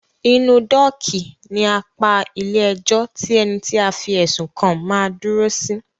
Inú dọ́ọ̀kì ní apá ilé ẹjọ́ tí ení tí a fí ẹ̀sùn kàn má ń dúró sí.